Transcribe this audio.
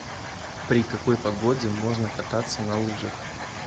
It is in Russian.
при какой погоде можно кататься на лыжах